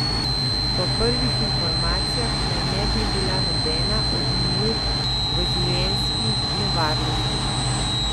Po prvih informacijah naj ne bi bila nobena od njiju v življenjski nevarnosti.